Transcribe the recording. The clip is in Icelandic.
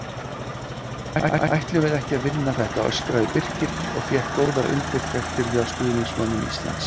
Ætlum við ekki að vinna þetta? öskraði BIrkir og fékk góðar undirtektir hjá stuðningsmönnum Íslands.